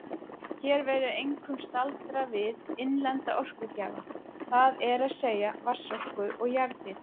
Hér verður einkum staldrað við innlenda orkugjafa, það er að segja vatnsorku og jarðhita.